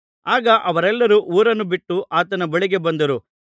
ಆಗ ಅವರೆಲ್ಲರು ಊರನ್ನು ಬಿಟ್ಟು ಆತನ ಬಳಿಗೆ ಬಂದರು